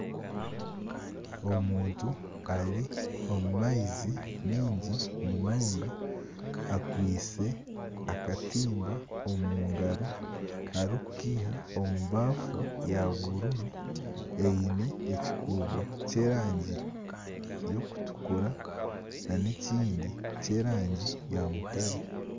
Omuntu ari omu maizi maingi munonga, akwaitse akatimba omu ngaaro arikukaiha omu baafu ya bururu eine ekikuubo ky'erangi y'okutukura n'ekindi ky'erangi ya mutare.